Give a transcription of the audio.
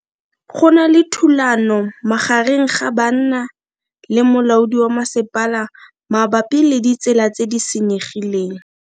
Go na le thulano magareng ga banna le molaodi wa masepala mabapi le ditsela tse di senyegileng.